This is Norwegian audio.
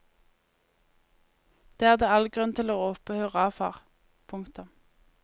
Det er det all grunn til å rope hurra for. punktum